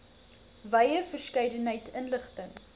wye verskeidenheid inligting